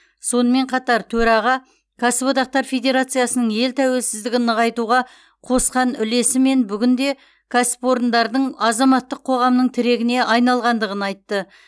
сонымен қатар төраға кәсіподақтар федерациясының ел тәуелсіздігін нығайтуға қосқан үлесі мен бүгінде кәсіподақтардың азаматтық қоғамның тірегіне айналғандығын айтты